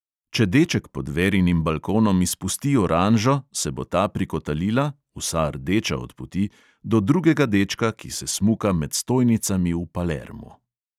Če deček pod verinim balkonom izpusti oranžo, se bo ta prikotalila (vsa rdeča od poti) do drugega dečka, ki se smuka med stojnicami v palermu.